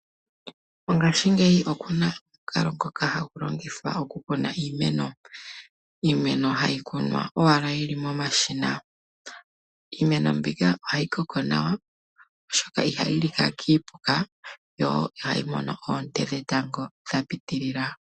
Mongaashingeyi okuna omukalo ngoka hagu longithwa okukuna iimeno, iimeno hayi kunwa owala yili momashina. Iimeno mbika ohayi koko nawa oshoka ihayi lika kiipuka yo ihayi mono oonte dhetango dha pitilila.